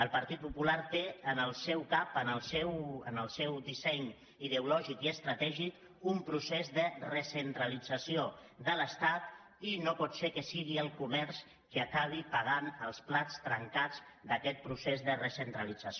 el partit popular té en el seu cap en el seu disseny ideològic i estratègic un procés de recentralització de l’estat i no pot ser que sigui el comerç qui acabi pagant els plats trencats d’aquest procés de recentralització